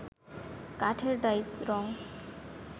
কাঠের ডাইস, রং